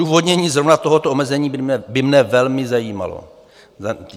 Odůvodnění zrovna tohoto omezení by mne velmi zajímalo.